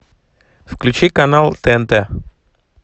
включи канал тнт